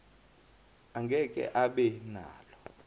angeke abe nalo